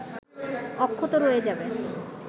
অক্ষত রয়ে যাবে